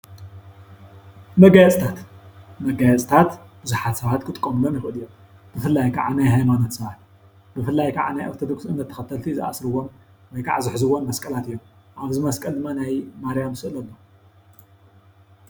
መጋየፅታት-መጋየፅታት ብዙሓት ሰባት ክጥቀሙሎም ይኽእሉ እዮም፡፡ ብፍላይ ከዓ ናይ ሃይማኖት ሰባት ብፍላይ ከዓ ናይ ኦርቶዶክስ እምነት ተኸተልቲ ዝኣስሩዎም ወይ ከዓ ዝሕዝዎም መስቀላት እዮም፡፡ ኣብዚ መስቀል ድማ ናይ ማርያም ስእሊ ኣሎ፡፡